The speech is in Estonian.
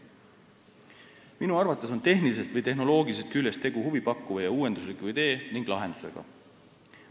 Minu arvates on tehnilisest või tehnoloogilisest küljest tegu huvipakkuva uuendusliku idee ja lahendusega.